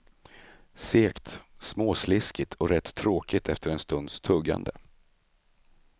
Segt, småsliskigt och rätt tråkigt efter en stunds tuggande.